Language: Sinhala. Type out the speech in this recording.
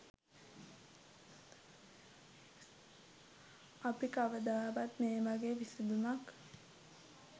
අපි කවදාවත් මේ වගේ විසඳුමක්